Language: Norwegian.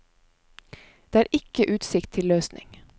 Det er ikke utsikt til løsning.